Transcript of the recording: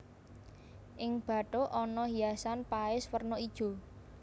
Ing bathuk ana hiasan paes werna ijo